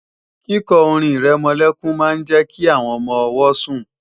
Kíkọ orin-ìrẹmọlẹ́kún máa ń jẹ́ kí àwọn ọmọ-ọwọ́ sùn